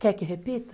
Quer que repita?